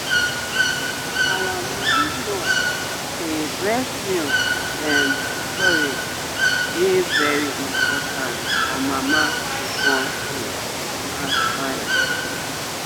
our ma nurse say breast milk um storage dey very important for mama to born safe and fine.